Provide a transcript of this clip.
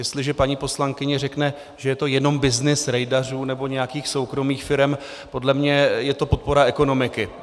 Jestliže paní poslankyně řekne, že je to jenom byznys rejdařů nebo nějakých soukromých firem, podle mě je to podpora ekonomiky.